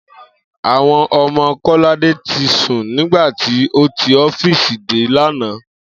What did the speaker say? Àwo̩n o̩mo̩ Kó̩ládé ti sùn nígbà tí ó ti ó̩fíìsì dé lánàá